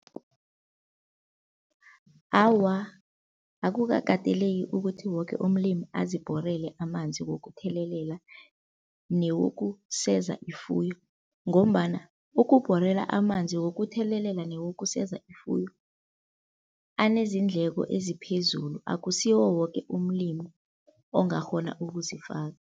Awa, akukakateleleki ukuthi woke umlimi azibhorele amanzi wokuthelelela newokuseza ifuyo ngombana ukubhorela amanzi wokuthelelela newokuseza ifuyo anezindleko eziphezulu, akusiwo woke umlimi ongakghona ukuzifaka.